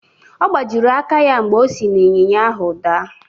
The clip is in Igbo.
Ọ gbajiri aka ya mgbe o si n’ịnyịnya ahụ daa.